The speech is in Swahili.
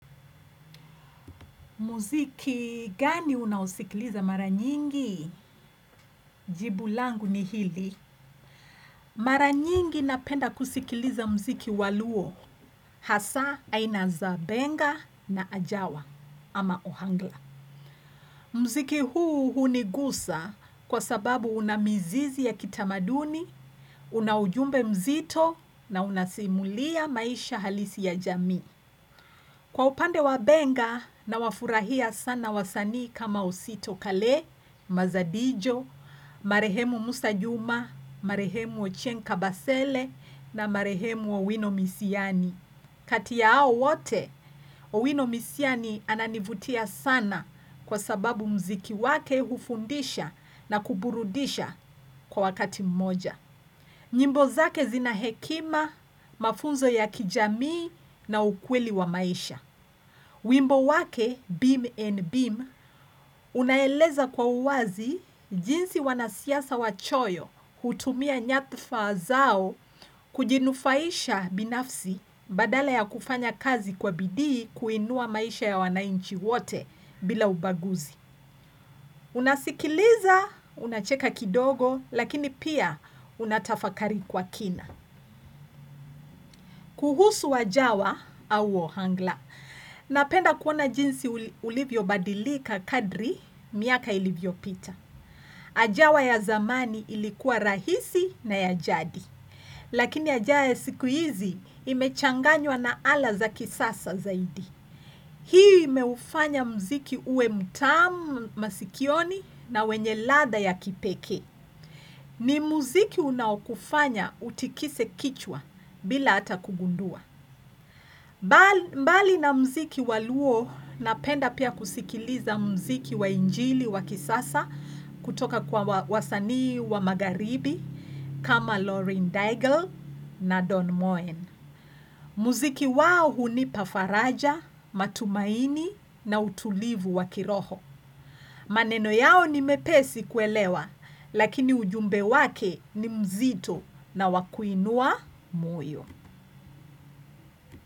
Muziki gani unaosikiliza mara nyingi? Jibulangu ni hili. Mara nyingi napenda kusikiliza mziki waluo. Hasa, aina za benga na ajawa ama ohangla. Mziki huu hunigusa kwa sababu unamizizi ya kitamaduni, unaujumbe mzito na unasimulia maisha halisi ya jami. Kwa upande wa benga na wafurahia sana wasani kama usito kale, Mazadijo, Marehemu Musajuma, Marehemu Ochenka Basele na Marehemu Owino Misiani. Kati ya ao wote, Owino Misiani ananivutia sana kwa sababu mziki wake hufundisha na kuburudisha kwa wakati mmoja. Nyimbo zake zina hekima, mafunzo ya kijamii na ukweli wa maisha. Wimbo wake BIM and BIM. Unaeleza kwa uwazi jinsi wanasiasa wachoyo hutumia nyadhfa zao kujinufaisha binafsi badala ya kufanya kazi kwa bidii kuinua maisha ya wanainchi wote bila ubaguzi. Unasikiliza, unacheka kidogo, lakini pia unatafakari kwa kina. Kuhusu ajawa au ohangla. Napenda kuona jinsi ulivyo badilika kadri miaka ilivyo pita. Ajawa ya zamani ilikuwa rahisi na ya jadi. Lakini ajawa ya sikuizi imechanganywa na ala za kisasa zaidi. Hii meufanya mziki ue mtamu masikioni na wenye ladha ya kipeke. Ni mziki unaukufanya utikise kichwa bila ata kugundua. Mbali na mziki waluo napenda pia kusikiliza mziki wa injili wa kisasa kutoka kwa wasanii wa magaribi kama Lauren Daigle na Don Moen. Muziki wao huni pafaraja, matumaini na utulivu wakiroho. Maneno yao ni mepesi kuelewa. Lakini ujumbe wake ni mzito na wakuinua moyo.